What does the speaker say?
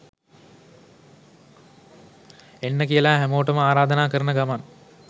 එන්න කියලා හැමොටම ආරධනා කරන ගමන්